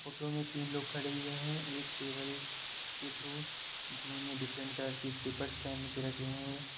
Photo में तीन लोग खड़े हुए हैं एक टेबल के थ्रू जिन्होंने डिफरेंट कलर की स्लिपर पहन के रखे हैं।